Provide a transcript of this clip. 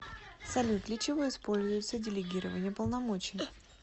салют для чего используется делегирование полномочий